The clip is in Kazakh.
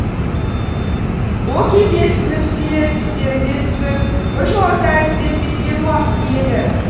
ол кезде ісініп те тістері де түсіп біржолата әлсіреп кеткен уақыты еді